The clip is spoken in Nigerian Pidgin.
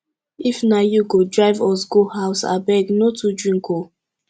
if na you go drive us go house abeg no too drink oo